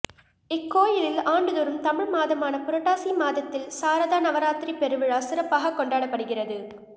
இக்கோயிலில் ஆண்டுதோறும் தமிழ் மாதமான புரட்டாசி மாதத்தில் சாரதா நவராத்திரி பெருவிழா சிறப்பாக கொண்டாடப்படுகிறது